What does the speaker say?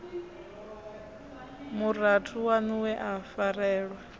murathu waṋu we a farelwa